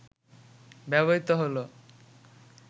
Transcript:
ব্যবহৃত হল